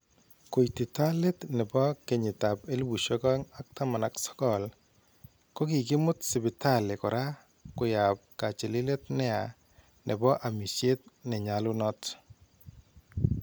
Koititaa leet nebo kenyiitab 2019, kokikimuut sipitalii koraa koyaab kachililet neyaa neboo amisyeet nenyalunot